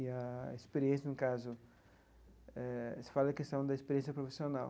E a experiência, no caso, eh se fala da questão da experiência profissional.